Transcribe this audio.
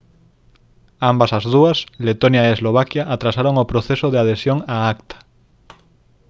ambas as dúas letonia e eslovaquia atrasaron o proceso de adhesión á acta